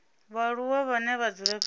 vhaaluwa vhane vha dzula fhethu